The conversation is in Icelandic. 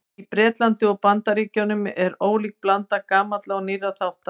Í Bretlandi og Bandaríkjunum er ólík blanda gamalla og nýrra þátta.